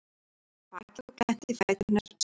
Hún lagðist á bakið og glennti fæturna sundur.